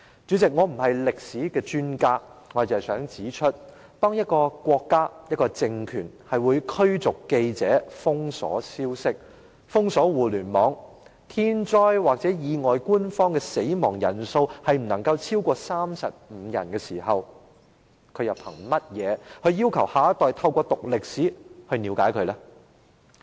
主席，我不是歷史專家，我只想指出，當一個國家或一個政權會驅逐記者、封鎖消息和互聯網，當發生天災或意外的時候，官方公布的死亡人數不能超過35人，它憑甚麼要求下一代透過修讀歷史了解國家？